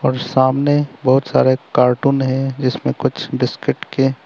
और सामने बहोत सारे कार्टून है जीसमें कुछ बिस्कुट के--